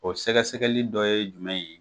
O sɛgɛsɛgɛli dɔ ye jumɛn ye?